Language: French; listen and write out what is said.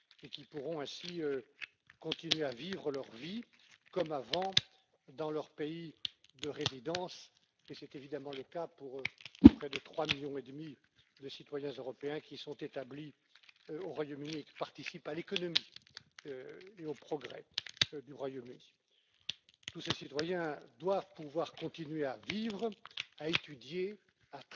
Ils pourront ainsi continuer à vivre leur vie comme avant dans leur pays de résidence et c'est évidemment le cas pour près de 3 millions et demi de citoyens européens qui sont établis au Royaume Uni et qui participent à l'économie et aux progrès du Royaume Uni. Tous ces citoyens doivent pouvoir continuer à vivre, à étudier, à travailler, à percevoir des allocations ou encore à faire venir leur famille, et ce pour la durée de leur vie. Voilà ce qui est dans le traité et nous parlons bien d'un traité avec toute la force juridique qui s'y attache, dès l'instant où il est ratifié de part et d'autre.